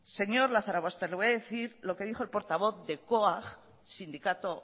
señor lazarobaster le voy a decir lo que dijo el portavoz de coag sindicato